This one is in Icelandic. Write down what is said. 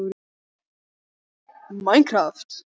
Ég raka saman nöglum hans með fingrunum.